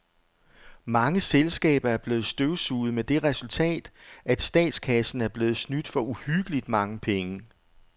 Mange selskaber er blevet støvsuget med det resultat, at statskassen er blevet snydt for uhyggeligt mange penge.